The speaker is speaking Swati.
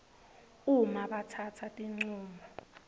uma batsatsa tincumo